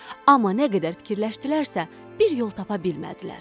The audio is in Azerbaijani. Amma nə qədər fikirləşdilərsə, bir yol tapa bilmədilər.